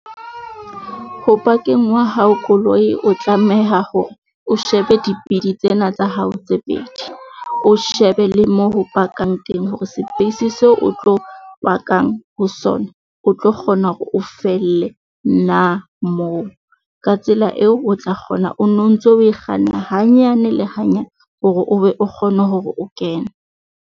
Ho pakeng wa hao koloi o tlameha hore o shebe dipidi tsena tsa hao tse pedi. O shebe le moo ho pakang teng hore seo o tlo pakang ho sona. O tlo kgona hore o felle nna moo, ka tsela eo o tla kgona o no ntso oe kganna hanyane le hanyane hore o be kgone hore o kene.